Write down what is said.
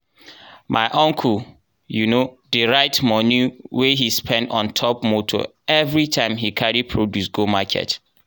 my uncle um dey write moni we he spend on top moto enveritime he carry produce go market.